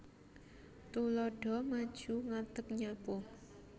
Tuladha maju ngadeg nyapu